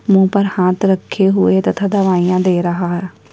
मुँह पर हाथ रखे हुए तथा दवाइयाँ दे रहा है।